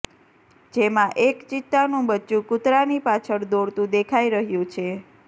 જેમા એક ચિત્તાનું બચ્ચું કૂતરાની પાછળ દોડતું દેખાઇ રહ્યું છે